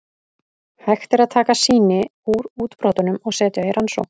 Hægt er að taka sýni úr útbrotunum og setja í rannsókn.